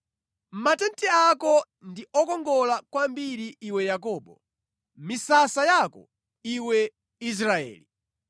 “Matenti ako ndi okongola kwambiri iwe Yakobo, misasa yako, iwe Israeli!